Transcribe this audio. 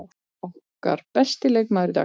Okkar besti leikmaður í dag.